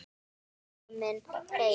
Ég var komin heim.